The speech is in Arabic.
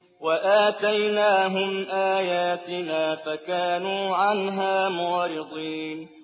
وَآتَيْنَاهُمْ آيَاتِنَا فَكَانُوا عَنْهَا مُعْرِضِينَ